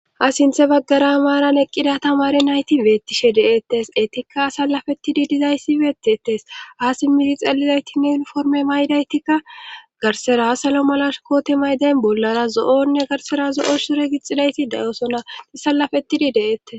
ha sinthe baggara maaran eqqida tamare nayti beettishe deettes etikka salafetidi dizayssi beettettes haasi mizi xelizaytinne ilforme maydaytikka garsera salo malashkooti maydayn bollara zo7onne garsera zo7o sure gixxidayti dayosonati salafetidi deeettes